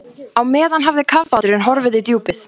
Á meðan hafði kafbáturinn horfið í djúpið.